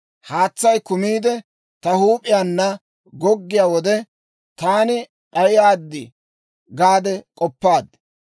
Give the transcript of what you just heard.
Haatsay kumiide, ta huup'iyaana goggiyaa wode, taani d'ayaad gaade k'oppaad.